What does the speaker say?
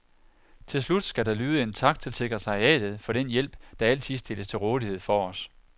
Til slut skal der lyde en tak til sekretariatet for den hjælp, der altid stilles til rådighed for os.